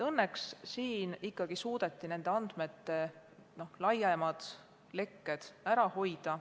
Õnneks kõnealusel juhul ikkagi suudeti andmete laiem leke ära hoida.